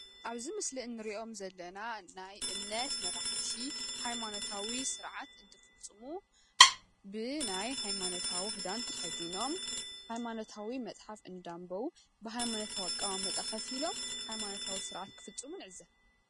ኣብዚ ምስሊ ንሪኦም ዘለና ናይ እምነት መራሕቲ ሃይማኖታዊ ስርዓት እንትፍፅሙ ብናይ ሃይማኖታዊ ክዳን ተኸዲኖም ሃይማኖታዊ መፅሓፍ እንዳንበቡ ብሃይማኖታዊ ኣቀማምጣ ኮፍ ኢሎም ሃይማኖታዊ ስርዓት ክፍፅሙ ንዕዘብ።